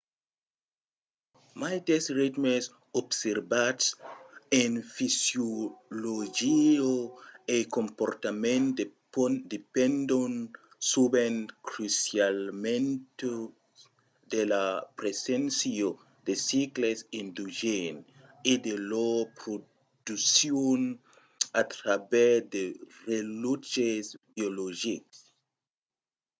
maites ritmes observats en fisiologia e comportament dependon sovent crucialament de la preséncia de cicles endogèns e de lor produccion a travèrs de relòtges biologics